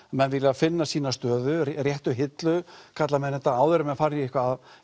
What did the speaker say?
menn vilja finna sína stöðu og réttu hillu áður en menn fara í eitthvað